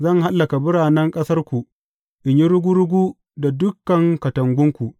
Zan hallaka biranen ƙasarku in yi rugu rugu da dukan katangunku.